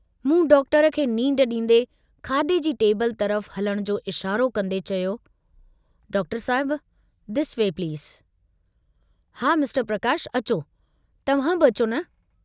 मूं डॉक्टर खे नींढ डींदे खाधे जी टेबिल तरफ़ हलण जो इशारो कन्दे चयो डॉक्टर साहिब दिस वे प्लीज़ हा मिस्टर प्रकाश अचो तव्हां बि अचो न।